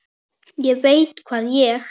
ÉG VEIT HVAÐ ÉG